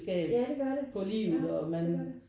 Ja det gør det ja det gør det